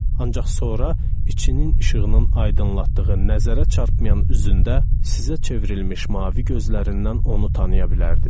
Ancaq sonra içinin işığının aydınlatdığı nəzərə çarpmayan üzündə sizə çevrilmiş mavi gözlərindən onu tanıya bilərdiniz.